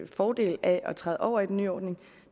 fordel af at træde over i den nye ordning